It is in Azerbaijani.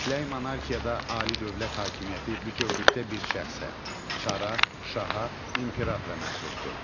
Mütləq monarxiyada ali dövlət hakimiyyəti bütövlükdə bir şəxsə, çara, şaha, imperatora məxsusdur.